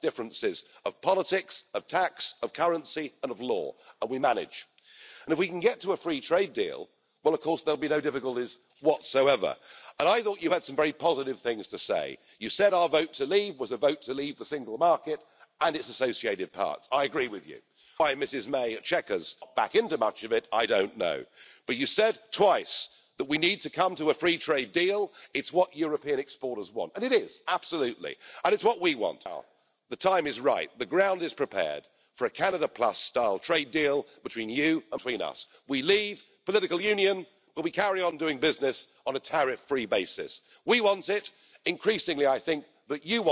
de M. Verhofstadt, qui passe son temps à critiquer et à attaquer les populistes ou les extrémistes, mais qui est dans cet hémicycle, avec beaucoup de constance, le visage de la haine, de l'agressivité, du rejet de toute idée qui serait différente de la sienne et il en a fait tout à l'heure encore la démonstration. M. Avramopoulos, votre commissaire, avait parlé de l'immigration, en fixant le cadre de votre Commission, l'accueil des migrants, je cite, est un impératif économique et social pour notre continent vieillissant et vous même tout à l'heure, avez affirmé vouloir augmenter encore les voies d'immigration légale. C'est là, sans doute, incontestablement, votre plus grande faute politique d'avoir permis d'encourager et d'organiser cette immigration de masse, qui affaiblit notre continent et qui fait souffrir nos peuples.